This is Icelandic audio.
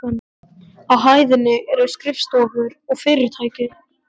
Á hæðinni eru skrifstofur og fyrirtæki.